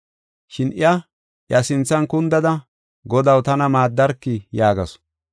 Shin iya, iya sinthan kundada, “Godaw, tana maaddarkii?” yaagasu.